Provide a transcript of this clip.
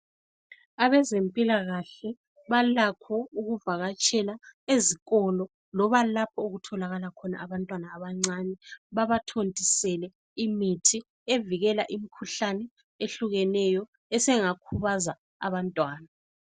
Abezempilakahle balakho ukuvakatshela ezikolo loba lapho okutholakala khona abantwana abancane, babathontisele imithi evikela imikhuhlane ehlukeneyo esingakhubaza abantwana.